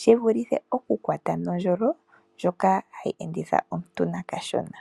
shivulithe okukwata oohi nondjolo ndjoka hayi enditha omuntu nakashona.